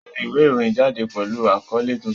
Tẹ ìwé ìròyìn jáde pẹ̀lú àkọ́lé tuntun!